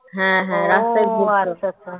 হ্যাঁ, হ্যাঁ, রাস্তায় রাস্তায় ঘুরত